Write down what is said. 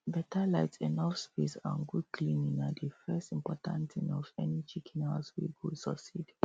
better light enough space and good cleaning na the first important thing of any chicken house wey go succeed